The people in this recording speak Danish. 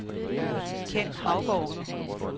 Ken Haugaard